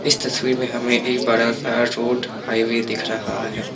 इस तस्वीर में हमें एक बड़ा सा रोड हाइवे दिख रहा है।